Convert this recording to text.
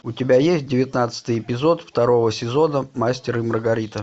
у тебя есть девятнадцатый эпизод второго сезона мастер и маргарита